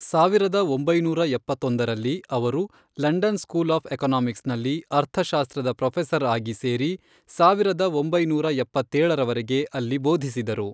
ಸಾವಿರದ ಒಂಬೈನೂರ ಎಪ್ಪತ್ತೊಂದರಲ್ಲಿ, ಅವರು ಲಂಡನ್ ಸ್ಕೂಲ್ ಆಫ್ ಎಕನಾಮಿಕ್ಸ್ ನಲ್ಲಿ ಅರ್ಥಶಾಸ್ತ್ರದ ಪ್ರೊಫೆಸರ್ ಆಗಿ ಸೇರಿ, ಸಾವಿರದ ಒಂಬೈನೂರ ಎಪ್ಪತ್ತೇಳರವರೆಗೆ ಅಲ್ಲಿ ಬೋಧಿಸಿದರು.